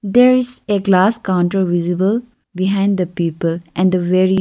there is a glass counter visible behind the people and the very--